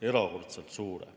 Erakordselt suure.